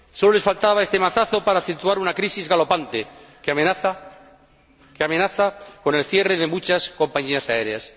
Solo les faltaba este mazazo para acentuar una crisis galopante que amenaza con el cierre de muchas compañías aéreas.